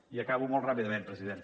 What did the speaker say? i acabo molt ràpidament president